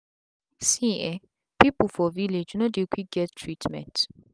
see[um]people for village no dey quick get treatment